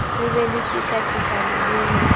be le tekatekano le ho